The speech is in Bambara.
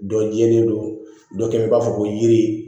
Dɔ jɛlen don dɔ kɛ i b'a fɔ ko yiri